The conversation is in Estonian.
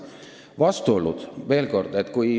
Vastuoludest veel.